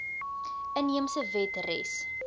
inheemse wet res